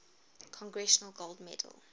congressional gold medal